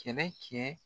Kɛlɛ kɛ